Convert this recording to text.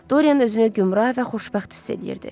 Doryan özünü gümrah və xoşbəxt hiss eləyirdi.